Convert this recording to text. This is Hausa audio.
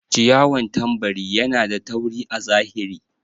ciyawan tambari Yana da tauri a zahiri.